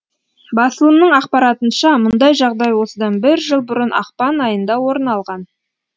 басылымның ақпаратынша мұндай жағдай осыдан бір жыл бұрын ақпан айында орын алған